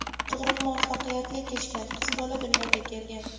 Tug‘ruq muvaffaqiyatli kechgan, qiz bola dunyoga kelgan.